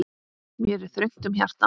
Mér er þröngt um hjarta.